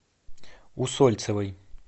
усольцевой